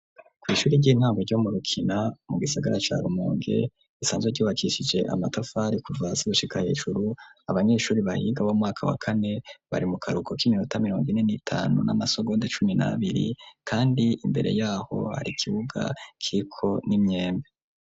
kwishuri ry'intango ryo murukina, mu gisagara ca Rumonge , risanzwe ryubakishije amatafari kuva hasi gushika hejuru, abanyeshuri bahiga bo mu mwaka wa kane , bari mu kahuruko k'iminota mirongo ine n' itanu n'amasogonde cumi nabiri , kandi imbere yaho hari ikibuga kiriko n'imyembe.